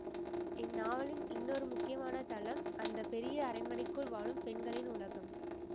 இந்நாவலின் இன்னொரு முக்கியமான தளம் அந்த பெரிய அரண்மனைக்குள் வாழும் பெண்களின் உலகம்